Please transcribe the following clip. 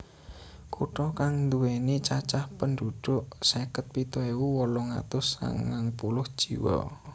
Kutha kang nduwèni cacah pendhudhuk seket pitu ewu wolung atus sangang puluh jiwa